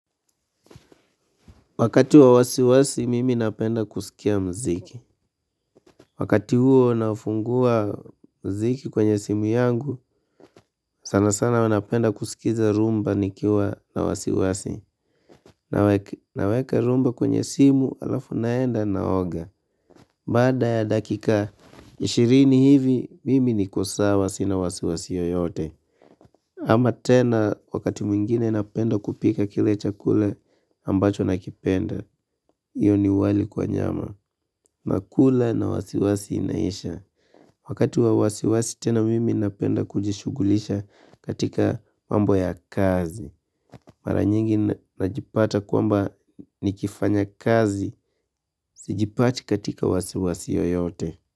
Wakati wa wasiwasi, mimi napenda kuskia mziki. Wakati huo nafungua mziki kwenye simu yangu, sana sana huwa napenda kusikiza rhumba nikiwa na wasiwasi. Naweka rhumba kwenye simu alafu naenda naoga. Bada ya dakika, ishirini hivi, mimi niko sawa sina wasiwasi yeyote. Ama tena wakati mwingine napenda kupika kile chakul ambacho nakipenda. Hiyo ni wali kwa nyama. Nakula na wasiwasi inaisha. Wakati wa wasiwasi tena mimi napenda kujishughulisha katika mambo ya kazi. Mara nyingi najipata kuamba nikifanya kazi sijipati katika wasiwasi yeyote.